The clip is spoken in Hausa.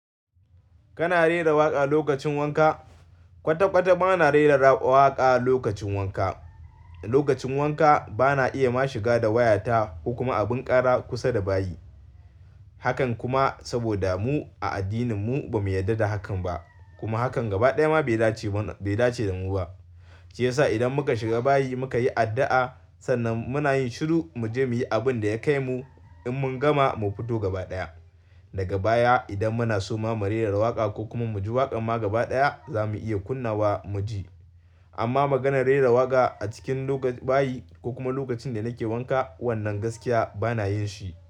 Kana rera waƙa lokacin wanka? Kwata-kwata bana rera waƙa lokacin wanka. Lokacin wanka bana iya ma shiga da wayata ko kuma abin ƙara kusa da bayi. Hakan kuma saboda mu a addinin mu ba mu yarda da hakan ba. Kuma hakan gaba ɗaya ma bai dace da mu ba. Shi yasa idan muka shiga bayi muka yi addu'a, sannan muna yin shiru mu je muyi abin da ya kai mu. In mun gama mu fito gaba ɗaya. Daga baya idan muna so ma mu rera waƙa ko kuma mu ji waƙa ma gaba ɗaya za mu iya kunna wa mu ji. Amma maganar rera waƙa a cikin bayi ko kuma lokacin da nake wanka, wannan gaskiya bana yin shi.